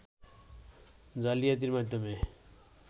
জালিয়াতির মাধ্যমে